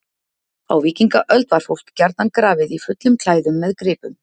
á víkingaöld var fólk gjarnan grafið í fullum klæðum með gripum